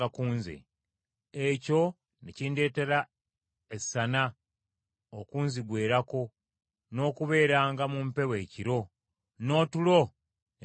Ekyo ne kindeetera essana okunzigwerangako, n’okubeeranga mu mpewo ekiro, n’otulo ne tumbula.